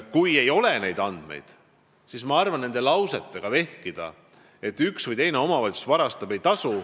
Kui teil ei ole neid andmeid, siis ma arvan, et ei tasu vehkida nende lausetega, et üks või teine omavalitsus varastab.